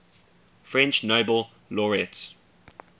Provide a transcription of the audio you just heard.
french nobel laureates